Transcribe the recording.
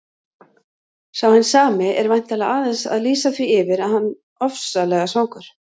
Sá hinn sami er væntanlega aðeins að lýsa því yfir að hann ofsalega svangur.